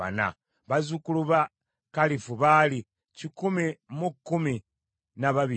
bazzukulu ba Kalifu baali kikumi mu kumi na babiri (112),